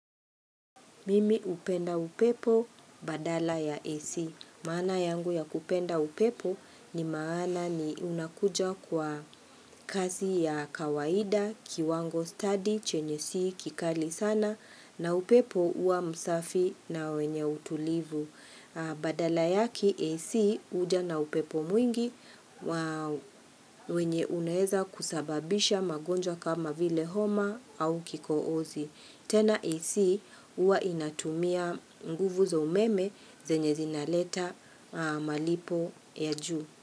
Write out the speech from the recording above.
Mimi hupenda upepo badala ya AC. Maana yangu ya kupenda upepo ni maana ni unakuja kwa kazi ya kawaida, kiwango stadi chenye si, kikali sana na upepo uwa msafi na wenye utulivu. Badala yake AC huja na upepo mwingi wenye unaeza kusababisha magonjwa kama vile homa au kikohozi. Tena ac huwa inatumia nguvu za umeme zenye zinaleta malipo ya juu.